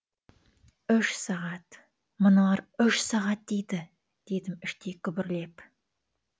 үш сағат мыналар үш сағат дейді дедім іштей күбірлеп